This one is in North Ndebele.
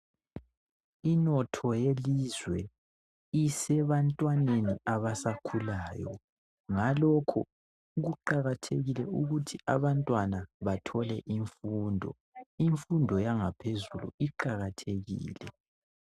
Inotho yelizwe isebantwaneni abasakhulayo .Ngalokho kuqakathekile ukuthi abantwana bathole imfundo .Imfundo yangaphezulu iqakathekile .